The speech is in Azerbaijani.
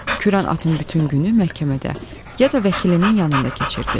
Kürən atın bütün günü məhkəmədə, ya da vəkilinin yanında keçirdi.